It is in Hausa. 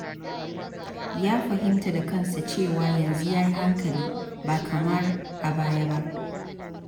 Ya fahimta da kansa cewa, yanzu ya yi hankali ba kamar a baya ba.